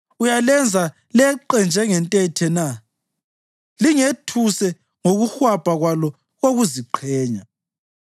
Uyalenza leqe njengentethe na, lingethuse ngokuhwabha kwalo kokuziqenya?